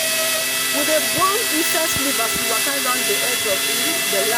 we dey burn incense leaf as we waka round the edge of um the land.